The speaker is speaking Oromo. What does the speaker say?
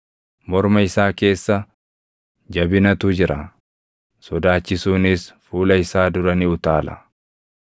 Morma isaa keessa jabinatu jira; sodaachisuunis fuula isaa dura ni utaala.